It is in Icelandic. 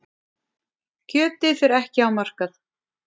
Kjötið fer ekki á markað.